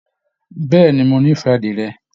Bẹ̀ẹ́ni, mo n'ifẹ àdirẹ.